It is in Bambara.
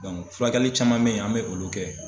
furakɛli caman mɛ ye an mɛ olu kɛ.